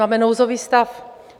Máme nouzový stav.